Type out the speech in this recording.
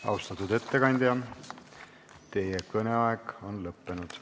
Austatud ettekandja, teie kõneaeg on lõppenud.